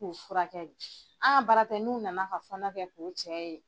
K'u furakɛ , an ka bara tɛ n'u nana ka fɔnɔ kɛ k'o cɛ ye.